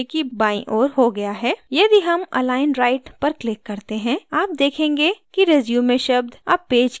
यदि हम align right पर click करते हैं आप देखेंगे कि resume शब्द अब पेज की दायीं ओर अलाइन हो गया है